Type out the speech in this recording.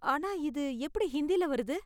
ஆனா இது எப்படி ஹிந்தில வருது?